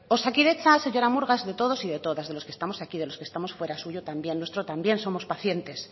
osakidetza señora murga es de todos y de todas de los que estamos aquí de los que estamos fuera suyo también nuestro también somos pacientes